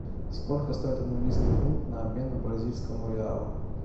сколько стоит английский фунт на обмен бразильскому реалу